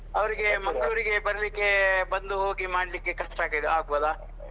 ಅವರಿಗೆ Mangalur ಗೆ ಬರ್ಲಿಕ್ಕೆ ಬಂದು ಹೋಗಿ ಮಾಡ್ಲಿಕ್ಕೆ ಕಷ್ಟ ಆಗಿದಾ ಆಗ್ಬೋದಾ?